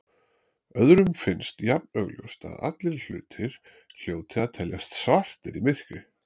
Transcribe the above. Öðrum finnst jafn augljóst að allir hlutir hljóti að teljast svartir í myrkri.